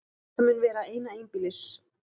Þetta mun vera eina einbýlis